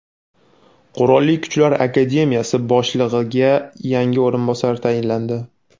Qurolli Kuchlar akademiyasi boshlig‘iga yangi o‘rinbosarlar tayinlandi.